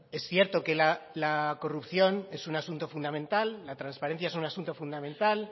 es cierto que la corrupción es un asunto fundamental la transparencia es un asunto fundamental